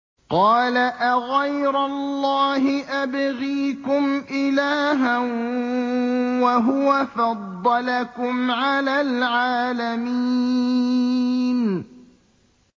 قَالَ أَغَيْرَ اللَّهِ أَبْغِيكُمْ إِلَٰهًا وَهُوَ فَضَّلَكُمْ عَلَى الْعَالَمِينَ